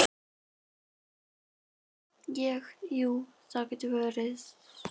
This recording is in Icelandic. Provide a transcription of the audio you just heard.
Ég, jú, það getur verið.